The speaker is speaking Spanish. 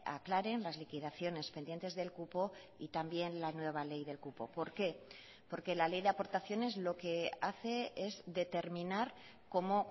aclaren las liquidaciones pendientes del cupo y también la nueva ley del cupo por qué porque la ley de aportaciones lo que hace es determinar cómo